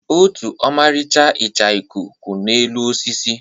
Otu ọmarịcha ichioku kwụ n'elu osisi.